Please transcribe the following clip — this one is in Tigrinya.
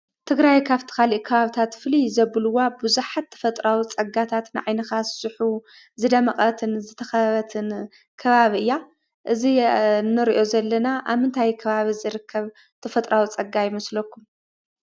ትግራይ ካብቲ ካልእ ከባብታት ፍልይ ዘብልዋ ብዙሓት ተፈጥሮኣዊ ፀጋታት ንዓይንኻ ዝስሕቡ ዝደመቐትን ዝተኸበበትን ከባቢ እያ፡፡ እዚ እንሪኦ ዘለና ኣብ ምንታይ ከባቢ ዝርከብ ተፈጥሮኣዊ ፀጋ ይመስለኩም?